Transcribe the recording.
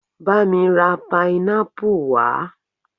Bá mi ra pineapple wá